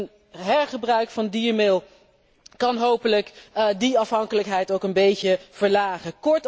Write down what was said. Een hergebruik van diermeel kan hopelijk die afhankelijkheid ook een beetje verlagen.